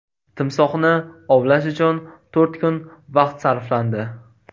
Timsohni ovlash uchun to‘rt kun vaqt sarflandi.